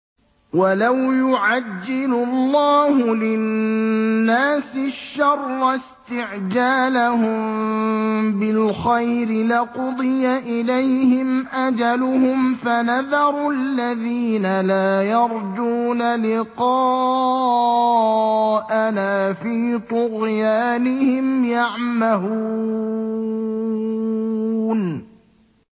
۞ وَلَوْ يُعَجِّلُ اللَّهُ لِلنَّاسِ الشَّرَّ اسْتِعْجَالَهُم بِالْخَيْرِ لَقُضِيَ إِلَيْهِمْ أَجَلُهُمْ ۖ فَنَذَرُ الَّذِينَ لَا يَرْجُونَ لِقَاءَنَا فِي طُغْيَانِهِمْ يَعْمَهُونَ